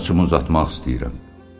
Saçımı uzatmaq istəyirəm.